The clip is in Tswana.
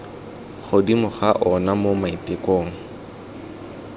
godimo ga ona mo maitekong